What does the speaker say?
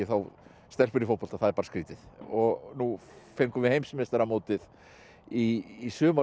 stelpur í fótbolta það er bara skrýtið og nú fengum við heimsmeistaramótið í sumar og þá